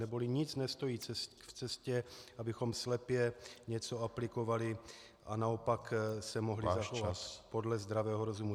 Neboli nic nestojí v cestě, abychom slepě něco aplikovali a naopak se mohli zachovat podle zdravého rozumu.